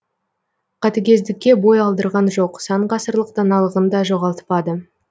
қатыгездікке бой алдырған жоқ сан ғасырлық даналығын да жоғалтпады